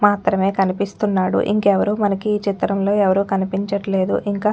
మాత్రమే కనిపిస్తున్నాడుఇంకెవ్వరూ మనకి చిత్రంలో ఎవ్వరూ కనిపించట్లేదుఇంకా--